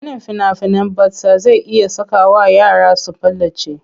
Ganin fina-finan batsa zai iya sakawa yara su palace.